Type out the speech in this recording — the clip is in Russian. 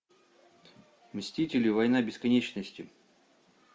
мстители война бесконечности